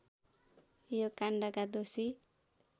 यो काण्डका दोषी